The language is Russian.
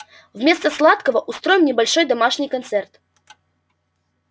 вместо сладкого устроим небольшой домашний концерт